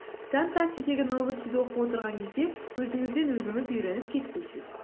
вконтактедегі новостиді оқып отырған кезде өзіңізден өзіңіз үйреніп кетпейсіз